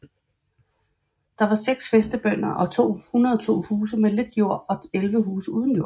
Der var seks fæstebønder og 102 huse med lidt jord og 11 huse uden jord